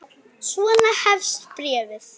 Svona hefst bréfið